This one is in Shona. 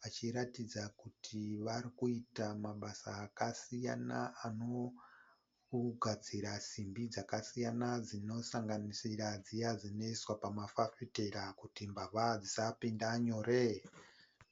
vachiratidza kuti vari kuita mabasa akasiyana anogadzira simbi dzakasiyana dzinosanganisira dziya dzinoiswa pamafafitera kuti mbavha dzisapinda nyore.